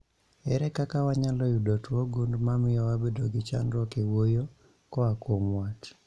Ere kaka wanyalo yudo tuo gund mamio wabedo gi chandruok e wuoyo koa kuom wat?